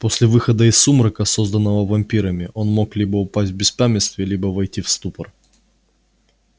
после выхода из сумрака созданного вампирами он мог либо упасть в беспамятстве либо войти в ступор